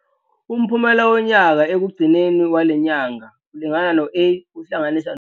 Umphumela wonyaka ekugcineni wale nyanga ulingana no-A uwuhlanganisa.